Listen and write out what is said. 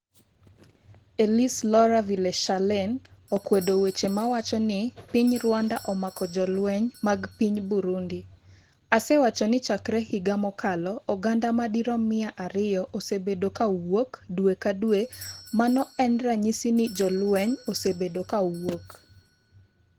Elise Laura Villechalane okwedo weche mawacho ni piny Rwanda omako jolweny mag piny Burundi: "Asewacho ni chakre higa mokalo oganda madirom 200 osebedo ka wuok dwe ka dwe, mano en ranyisi ni jolweny osebedo ka wuok."